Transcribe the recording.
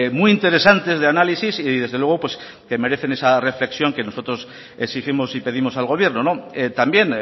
muy interesantes de análisis y desde luego que merecen esa reflexión que nosotros exigimos y pedimos al gobierno también